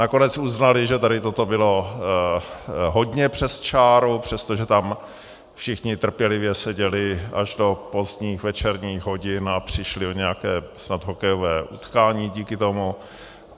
Nakonec uznali, že tady toto bylo hodně přes čáru, přestože tam všichni trpělivě seděli až do pozdních večerních hodin a přišli o nějaké snad hokejové utkání díky tomu.